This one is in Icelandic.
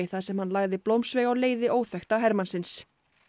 þar sem hann lagði blómsveig á leiði óþekkta hermannsins